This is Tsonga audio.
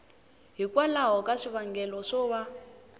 hikwalaho ka swivangelo swo va